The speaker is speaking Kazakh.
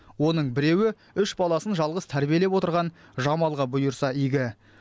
оның біреуі үш баласын жалғыз тәрбиелеп отырған жамалға бұйырса игі